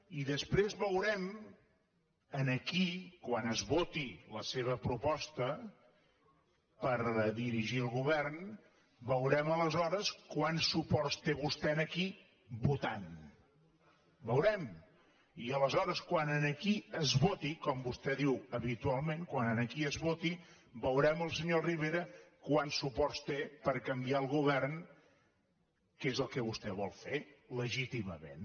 i després veurem aquí quan es voti la seva proposta per dirigir el govern veurem aleshores quants suports té vostè aquí votant ho veurem i aleshores quan aquí es voti com vostè diu habitualment quan aquí es voti veurem el senyor rivera quants suport té per canviar el govern que és el que vostè vol fer legítimament